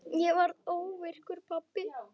Ég varð óvirkur pabbi.